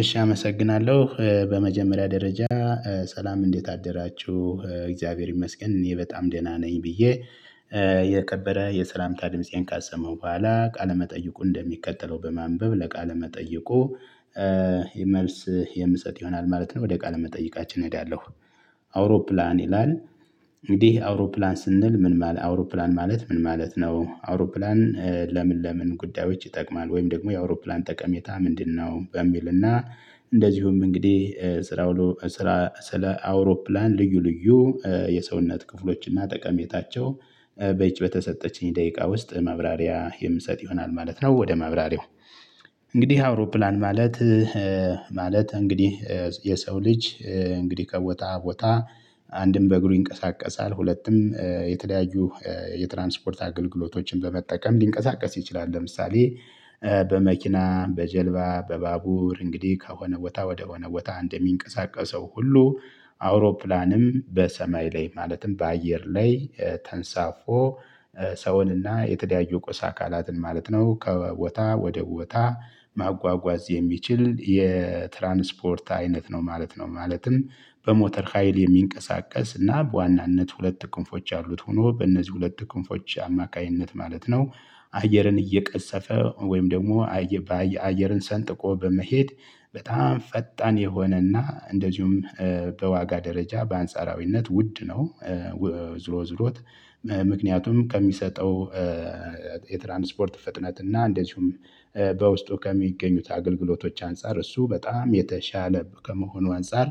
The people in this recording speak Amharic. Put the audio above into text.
እሺ አመሰግናለሁ በመጀመሪያ ደረጃ ሰላም እንዴት አደራችሁ እግዚአብሔር ይመስገን እኔ በጣም ደህና ነኝ ብዬ የከበረ የሰላምታ ድምፄን ካሰማው በኋላ ቃለ መጠይቁን እንደሚከተለው በማንበብ ለቃል መጠይቁ መልስ የምጸጥ ይሆናል ማለት ነው። ወደ ቃል መጠይቃችን እሄዳለሁ። አውሮፕላን ይላል እንግዲህ አውሮፕላን ስንል ምን አውሮፕላን ማለት ምን ማለት ነው? አውሮፕላን ለምን ለምን ጉዳዮች ይጠቅማል ወይም ደግሞ የአውሮፕላን ጠቀሜታ ምንድነው? በሚልና እንደዚሁም እንግዲህ ስራ ስለ አውሮፕላን ልዩ ልዩ የሰውነት ክፍሎች እና ጠቀሜታቸው በይች በተሰጠችኝ ደቂቃ ውስጥ ማብራሪያ የምሰጥ ይሆናል ማለት ነው። ወደ ማብራሪያው እንግዲህ አውሮፕላን ማለት ማለት እንግዲህ የሰው ልጅ እንግዲህ ከቦታ ቦታ አንድም በእግሩ ይንቀሳቀሳል ሁለትም የተለያዩ የትራንስፖርት አገልግሎቶችን በመጠቀም ሊንቀሳቀስ ይችላል። ለምሳሌ በመኪና በጀልባ በባቡር እንግዲህ ከሆነ ቦታ ወደሆነ ቦታ እንደሚንቀሳቀሰው ሁሉ አውሮፕላንም በሰማይ ላይ ማለትም በአየር ላይ ተንሳፎ ሰውንና የተለያዩ ቁስ አካላትን ማለት ነው። ከቦታ ወደ ቦታ ማጓጓዝ የሚችል የትራንስፖርት አይነት ነው ማለት ነው። ማለትም በሞተር ሀይል የሚንቀሳቀስ እና በዋናነት ሁለት ክንፎች ያሉት ሆኖ በእነዚህ ሁለት ክንፎች አማካኝነት ማለት ነው አየርን እየቀሰፈ ወይም ደግሞ አየርን ሰንጥቆ በመሄድ በጣም ፈጣን የሆነና እንደዚሁም በዋጋ ደረጃ በአንጻራዊነት ውድ ነው። ዝሮ ዝሮት ምክንያቱም ከሚሰጠው የትራንስፖርት ፍጥነት እና እንደዚሁም በውስጡ ከሚገኙት አገልግሎቶች አንፃር እሱ በጣም የተሻለ ከመሆኑ አንፃር።